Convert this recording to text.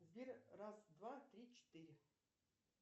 сбер раз два три четыре